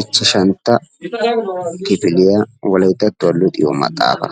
ichchashantta kifiya wolayittattuwa luxiyo maxaafa.